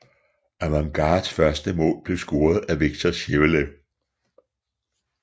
Avangards første mål blev scoret af Viktor Sjeveljev